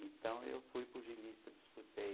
Então, eu fui pugilista, disputei